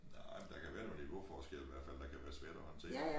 Nej der kan være noget niveauforskelle i hvert fald der kan være svært at håndtere